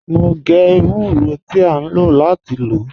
Mo ń gé èwúrọ̀ tí à nlọ láti lọ́.